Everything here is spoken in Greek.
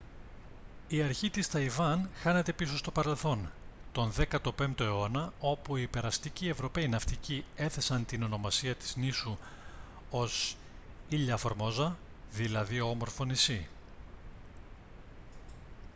η αρχή της ταϊβάν χάνεται πίσω στο παρελθόν τον 15ο αιώνα όπου οι περαστικοί ευρωπαίοι ναυτικοί έθεσαν την ονομασία της νήσου ως ilha formosa δηλαδή όμορφο νησί